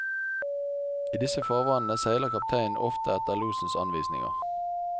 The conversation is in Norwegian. I disse farvannene seiler kapteinen ofte etter losens anvisninger.